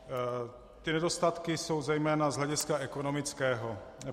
Ty nedostatky jsou zejména z hlediska ekonomického.